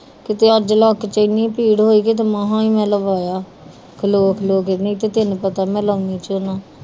ਕਿਤੇ ਅੱਜ ਲੱਤ ਚ ਏਨੀ ਪੀੜ ਹੋਈ ਮਾਹਾ ਹੀ ਮੈ ਲਵਾਇਆ ਖਲੋ ਖਲੋ ਕੇ ਨਹੀਂ ਤੇ ਤੈਨੂੰ ਪਤਾ